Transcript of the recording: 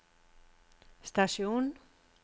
stasjon